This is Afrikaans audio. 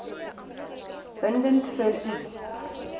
bindend vir u